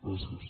gràcies